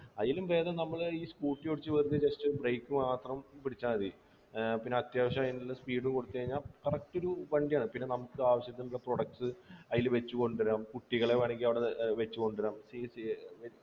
അയിലും ഭേദം നമ്മൾ ഈ scooter ഓടിച്ച് വെറുതെ just break മാത്രം പിടിച്ചാ മതി ഏർ പിന്നെ അത്യാവശ്യം അയിനുള്ള speed ഉം കൊടുത്ത് കയിഞ്ഞാ correct ഒരു വണ്ടിയാണ് പിന്നെ നമ്ക്ക് ആവശ്യത്തിനുള്ള products അയില് വെച്ചു കൊണ്ടുവരാം കുട്ടികളെ വേണമെങ്കി അവിടെ ഏർ വെച്ച് കൊണ്ടുവരാം